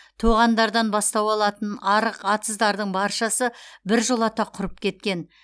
тоғандардан бастау алатын арық атыздардың баршасы біржолата құрып кеткен